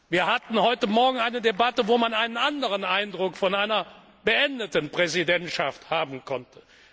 Wir hatten heute Morgen eine Debatte, in der man einen anderen Eindruck von einer beendeten Präsidentschaft haben konnte.